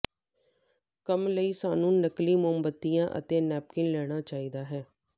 ਕੰਮ ਲਈ ਸਾਨੂੰ ਨਕਲੀ ਮੋਮਬੱਤੀਆਂ ਅਤੇ ਨੈਪਕਿਨ ਲੈਣਾ ਚਾਹੀਦਾ ਹੈ